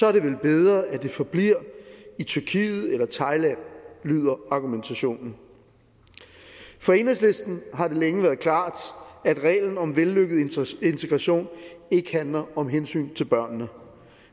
er det vel bedre at det forbliver i tyrkiet eller thailand lyder argumentationen for enhedslisten har det længe været klart at reglen om vellykket integration ikke handler om hensynet til børnene